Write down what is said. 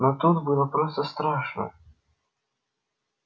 но тут было просто страшно